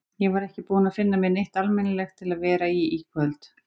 Ég var ekki búin að finna mér neitt almennilegt til að vera í í kvöld.